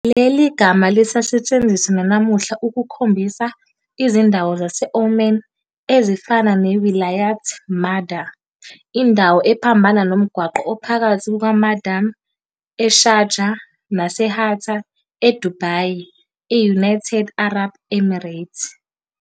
Leli gama lisasetshenziswa nanamuhla ukukhombisa izindawo zase-Oman, ezifana "neWilayat Madha," indawo ephambana nomgwaqo ophakathi kukaMadam eSharjah naseHatta eDubai e-United Arab Emirates.